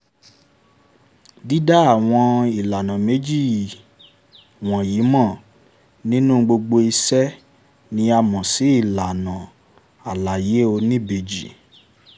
dída àwọn ìlànà méjì wọ̀nyí mọ̀ nínú gbogbo ìṣe ni a mọ̀ sí ìlànà àlàyé oníbejì.